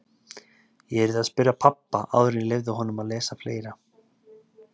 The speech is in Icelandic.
Ég yrði að spyrja pabba áður en ég leyfði honum að lesa fleiri.